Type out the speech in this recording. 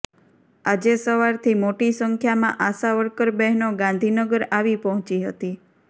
આજે સવારથી મોટી સંખ્યામાં આશા વર્કર બહેનો ગાંધીનગર આવી પહોંચી હતી